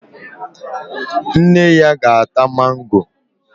Nne ya ga-ata mango